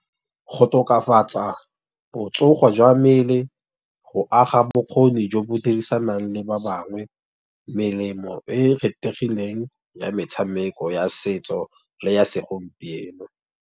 Go tokafatsa botsogo jwa mmele, go aga bokgoni jo bo dirisanang le ba bangwe, melemo e e kgethegileng ya metshameko ya setso le ya segompieno.